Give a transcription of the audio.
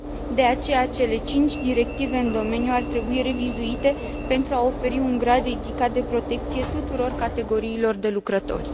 De aceea, cele cinci directive în domeniu ar trebui revizuite pentru a oferi un grad ridicat de protecție tuturor categoriilor de lucrători.